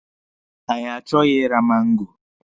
Anyị achọghị ịra mango.